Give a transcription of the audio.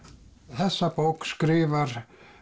þessa bók skrifar